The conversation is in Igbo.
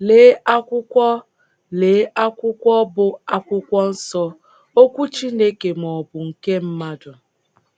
Lee akwụkwọ Lee akwụkwọ bụ́ akwụkwọ nsọ — Okwu Chineke ma ọ bụ nkr mmadu?